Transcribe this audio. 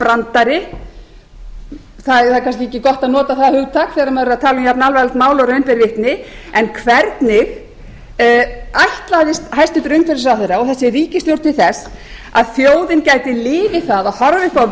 brandari það er kannski ekki gott að nota það hugtak þegar maður er að tala um jafnalvarlegt mál og raun ber vitni en hvernig ætlaðist hæstvirtur umhverfisráðherra og þessi ríkisstjórn til þess að þjóðin gæti liðið það að horfa upp á